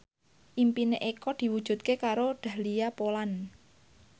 impine Eko diwujudke karo Dahlia Poland